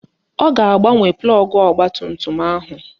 Ọ ga-agbanwe plọgụ ọgbatumtum ahụ